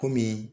Kɔmi